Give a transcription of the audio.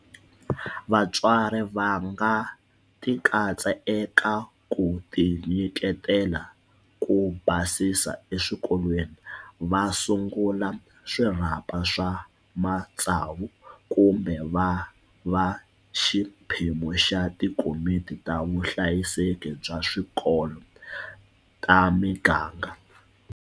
Vatswari va nga tikatsa eka ku tinyiketela ku basisa eswikolweni, va sungula swirhapa swa matsavu kumbe va va xiphemu xa tikomiti ta vuhlayiseki bya swikolo ta miganga.